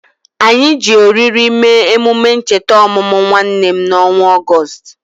Anyị ji oriri mee emume ncheta ọmụmụ nwanne m n'ọnwa Ọgọst